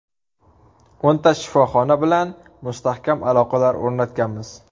O‘nta shifoxona bilan mustahkam aloqalar o‘rnatganmiz.